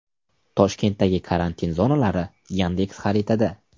Toshkentdagi karantin zonalari Yandex-xaritada.